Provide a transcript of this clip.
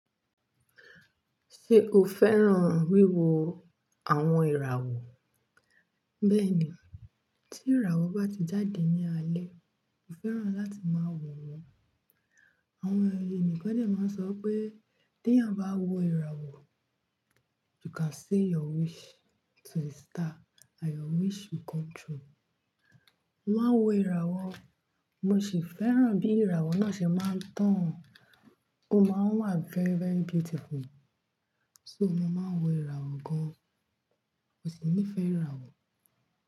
Ṣé o fẹ́ràn wíwo àwọn ìràwọ̀? Bẹ́ẹ̀ni, tí ìràwọ̀ bá ti jáde ní alẹ́, mo fẹ́ràn láti máa wo wọn. Àwọn ẹ̀yàn nkan na máa ń sọ pé tí ènìyàn bá n wo ìràwọ̀, you can say your wish to a star and your wish will come true. Mo máa ń wo ìràwọ̀, mo sì fẹ́ràn bí ìràwọ̀ náà ṣe máa ń tàn. Ó máa ń wà very, very beautiful. So mo máa ń wo ìràwọ̀ gan-an. Mo sì nífẹ̀ẹ́ ìràwọ̀.